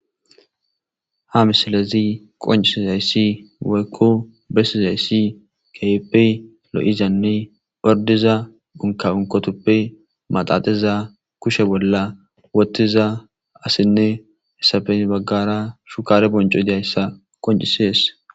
Ha misilezi qoncisizayssi woykko bessizayssi keype lo'izanne ordiza unkaunkotoppe maxaxeza kushe bolla wottiza asinne hessafen baggara shukare bonco idiyayssa qoncisees.